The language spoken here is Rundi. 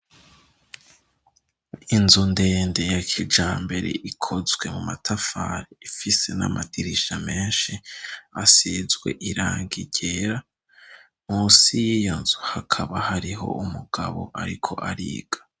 Inzu ndende ya kijambere ikozwe mu matafari, ifise n'amadirisha menshi asizwe irangi ryera, munsi y'iyo nzu hakaba hariho umugabo ariko ariga.